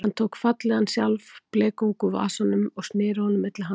Hann tók fallegan sjálfblekung úr vasanum og sneri honum milli fingra sér.